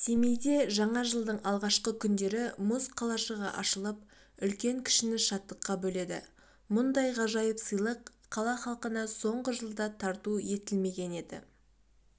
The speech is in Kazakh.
семейде жаңа жылдың алғашқы күндері мұз қалашығы ашылып үлкен-кішіні шаттыққа бөледі мұндай ғажайып сыйлық қала халқына соңғы жылда тарту етілмеген еді